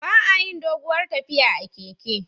Ba a yin doguwar tafiya a keke